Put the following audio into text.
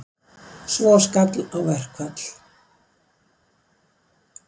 Svo skall á verkfall.